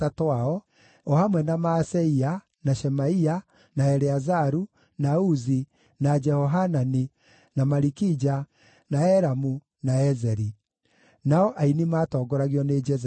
o hamwe na Maaseia, na Shemaia, na Eleazaru, na Uzi, na Jehohanani, na Malikija, na Elamu, na Ezeri. Nao aini maatongoragio nĩ Jezerahia.